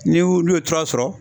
N'i olu ye tura sɔrɔ